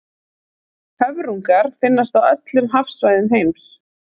höfrungar finnast á öllum hafsvæðum heims